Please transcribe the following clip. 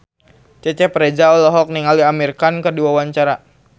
Cecep Reza olohok ningali Amir Khan keur diwawancara